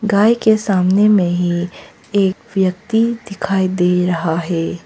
गाय के सामने में ही एक व्यक्ति दिखाई दे रहा है।